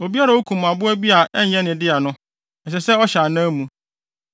Obiara a okum aboa bi a ɛnyɛ ne dea no, ɛsɛ sɛ ɔhyɛ anan mu.